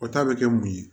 O ta bɛ kɛ mun ye